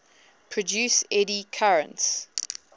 produce eddy currents